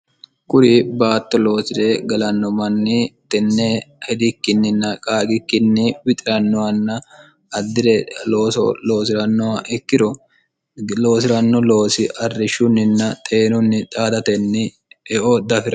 kuri baatto loosi're galanno manni tenne hidikkinninna qaaqikkinni wixirannohanna addire looso loosi'rannoha ikkiro loosi'ranno loosi arrishshunninna xeenunni xaadatenni eo daafiro